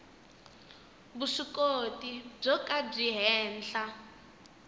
vuswikoti byo ka byi henhla